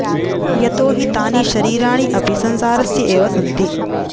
यतो हि तानि शरीराणि अपि संसारस्य एव सन्ति